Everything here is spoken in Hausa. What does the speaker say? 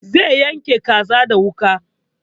Zai yanka kaza da wuƙa